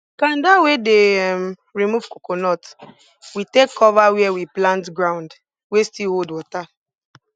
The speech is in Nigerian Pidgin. kanda wey dey um remove coconut we take cover where we plant ground wey still hold water